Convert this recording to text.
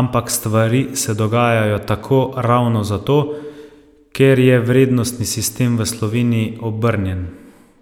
ampak stvari se dogajajo tako ravno zato, ker je vrednostni sistem v Sloveniji obrnjen.